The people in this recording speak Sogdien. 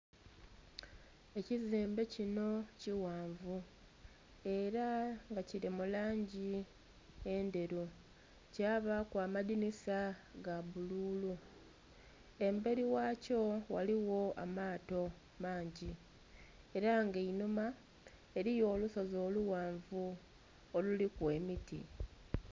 Ekizimbe kino kighanvu era nga kiri mulangi endheru kyabaku amadhinisa ga bbululu emberi ghe kyo ghaligho amaato mangi era nga einhuma eriyo olusozi olughanvu oluliku emiti.